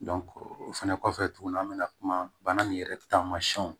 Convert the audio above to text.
o fɛnɛ kɔfɛ tuguni an mɛna kuma bana nin yɛrɛ